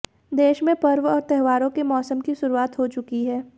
देश में पर्व और त्योहारों के मौसम की शुरुआत हो चुकी है